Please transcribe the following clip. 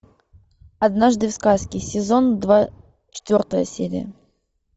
однажды в сказке сезон два четвертая серия